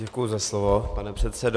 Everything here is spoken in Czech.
Děkuji za slovo pane předsedo.